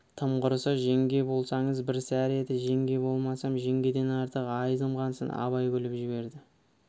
тым құрыса жеңге болсаңыз бір сәрі еді жеңге болмасам жеңгеден артық айызым қансын абай күліп жіберді